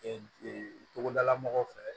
Ee togodala mɔgɔw fɛ